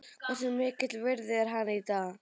Hversu mikils virði er hann í dag?